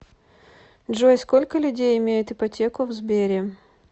джой сколько людей имеют ипотеку в сбере